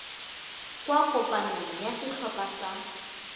kwa kopanong ya setlhopha sa